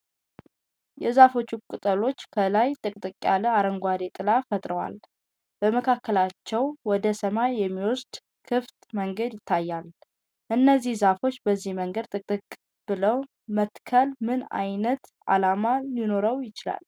የዛፎቹ ቅጠሎች ከላይ ጥቅጥቅ ያለ አረንጓዴ ጥላ ፈጥረዋል፤ በመካከላቸው ወደ ሰማይ የሚወስድ ክፍት መንገድ ይታያል። እነዚህ ዛፎች በዚህ መንገድ ጥቅጥቅ ብለው መትከል ምን ዓይነት ዓላማ ሊኖረው ይችላል?